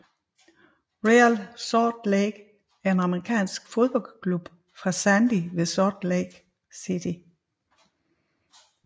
Real Salt Lake er en amerikansk fodboldklub fra Sandy ved Salt Lake City